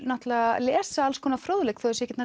lesa alls konar fróðleik þó þau séu ekki